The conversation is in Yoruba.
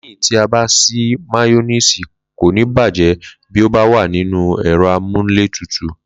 Lé̩yìn tí a bá s̩i, máyó̩néèsì kò ní bàjé̩ bí ó bá wà nínú è̩ro̩ amóhuntutù